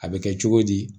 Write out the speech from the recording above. A bɛ kɛ cogo di